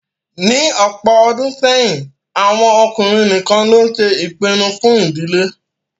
Ní ọ̀pọ̀ ọdún sẹ́yìn, àwọn ọkùnrin nìkan ló ṣe ìpinnu fún ìdílé